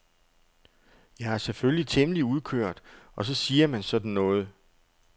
Jeg er selvfølgelig temmelig udkørt og så siger man sådan noget.